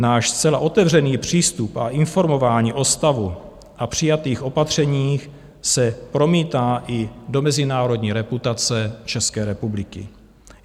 Náš zcela otevřený přístup a informování o stavu a přijatých opatřeních se promítá i do mezinárodní reputace České republiky.